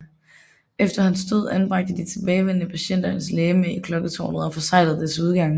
Efter hans død anbragte de tilbageværende patienter hans legme i klokketårnet og forseglede dets udgange